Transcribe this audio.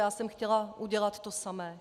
Já jsem chtěla udělat to samé.